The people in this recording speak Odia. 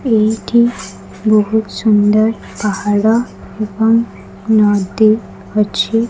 ଏଇଠି ବହୁତ୍ ସୁନ୍ଦର ପାହାଡ ଏବଂ ନଦୀ ଅଛି।